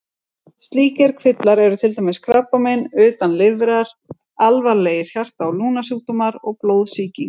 Slíkir kvillar eru til dæmis krabbamein utan lifrar, alvarlegir hjarta- eða lungnasjúkdómar og blóðsýking.